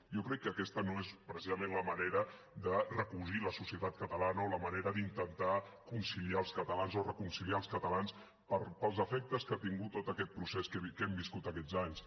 jo crec que aquesta no és precisament la manera de recosir la societat catalana o la manera d’intentar conciliar els catalans o reconciliar els catalans pels efectes que ha tingut tot aquest procés que hem viscut aquests anys